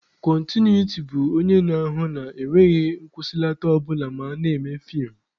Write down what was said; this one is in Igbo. Kọntinuiti bụ onye na-ahụ na enweghị nkwụsịlata ọ bụla ma a na-eme feem.